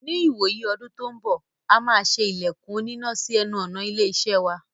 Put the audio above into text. Ní ìwòyí ọdún tó n bọ̀,a máa ṣe ilẹ̀kùn onínà sí ẹnu ọ̀nà ilé-iṣẹ́ wa.